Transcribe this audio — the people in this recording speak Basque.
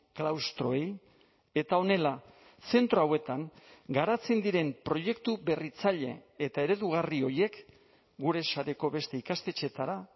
klaustroei eta honela zentro hauetan garatzen diren proiektu berritzaile eta eredugarri horiek gure sareko beste ikastetxeetara